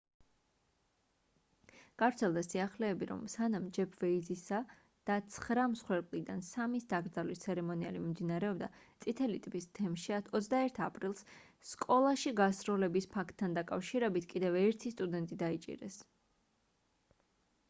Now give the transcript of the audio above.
გავრცელდა სიახლეები რომ სანამ ჯეფ ვეიზისა და ცხრა მსხვერპლიდან სამის დაკრძალვის ცერემონიალი მიმდინარეობდა წითელი ტბის თემში 21 აპრილს სკოლაში გასროლების ფაქტთან დაკავშირებით კიდევ ერთი სტუდენტი დაიჭირეს